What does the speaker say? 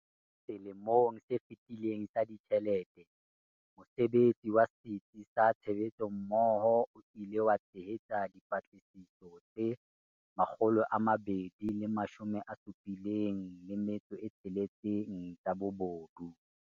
Selemong se fetileng sa ditjhelete, mosebetsi wa Setsi sa Tshebetsommoho o ile wa tshehetsa dipatlisiso tse 276 tsa bobodu.